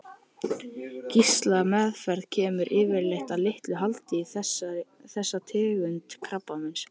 Geislameðferð kemur yfirleitt að litlu haldi við þessa tegund krabbameins.